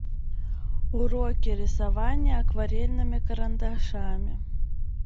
уроки рисования акварельными карандашами